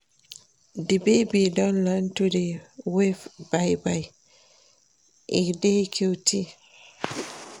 Di baby don learn to dey wave bye-bye, e dey cute.